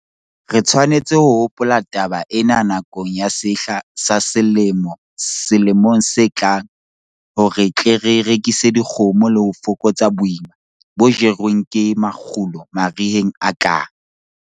Re tshwanetse ho hopola taba ena nakong ya sehla sa selemo selemong se tlang hore re tle re rekise dikgomo le ho fokotsa boima bo jerweng ke makgulo mariheng a tlang.